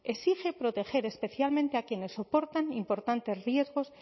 exige proteger especialmente a quienes soportan importantes riesgos